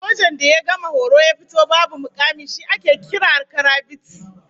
Sojan da ya gama horo ya fito babu mukami shi ake kira karabiti